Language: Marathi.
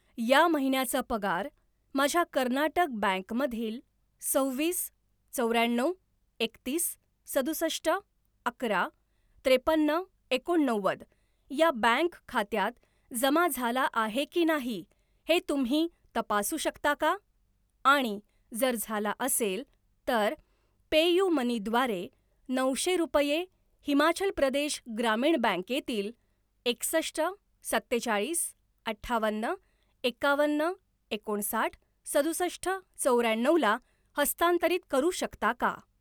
या महिन्याचा पगार माझ्या कर्नाटक बँक मधील सव्वीस चौऱ्याण्णव एकतीस सदुसष्ट अकरा त्रेपन्न एकोणनव्वद या बँक खात्यात जमा झाला आहे की नाही हे तुम्ही तपासू शकता का आणि जर झाला असेल, तर पेयुमनी द्वारे नऊशे रुपये हिमाचल प्रदेश ग्रामीण बँकेतील एकसष्ट सत्तेचाळीस अठ्ठावन्न एकावन्न एकोणसाठ सदुसष्ट चौऱ्याण्णवला हस्तांतरित करू शकता का?